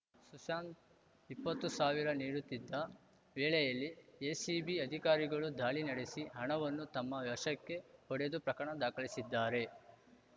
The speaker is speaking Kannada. ಸುಶಾಂತ್‌ ಇಪ್ಪತ್ತು ಸಾವಿರ ನೀಡುತ್ತಿದ್ದ ವೇಳೆಯಲ್ಲಿ ಎಸಿಬಿ ಅಧಿಕಾರಿಗಳು ದಾಳಿ ನಡೆಸಿ ಹಣವನ್ನು ತಮ್ಮ ವಶಕ್ಕೆ ಪಡೆದು ಪ್ರಕರಣ ದಾಖಲಿಸಿದ್ದಾರೆ